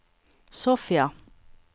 Sofia